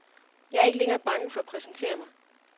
Jeg er ikke længere bange for at præsentere mig.